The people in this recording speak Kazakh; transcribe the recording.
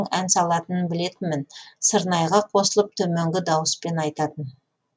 ән салатынын білетінмін сырнайға қосылып төменгі дауыспен айтатын